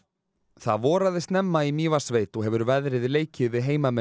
það voraði snemma í Mývatnssveit og hefur veðrið leikið við heimamenn